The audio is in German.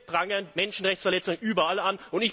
Wir prangern Menschenrechtsverletzungen überall an.